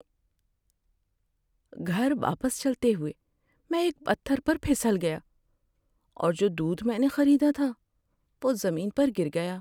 گھر واپس چلتے ہوئے، میں ایک پتھر پر پھسل گیا اور جو دودھ میں نے خریدا تھا وہ زمین پر گر گیا۔